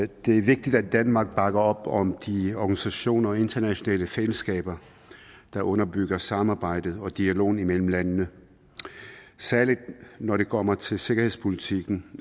det er vigtigt at danmark bakker op om de organisationer og internationale fællesskaber der underbygger samarbejdet og dialogen mellem landene særligt når det kommer til sikkerhedspolitikken